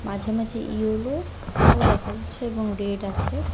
মাঝে মাঝে ইয়োলো ও দেখা যাচ্ছে এবং রেড আছে।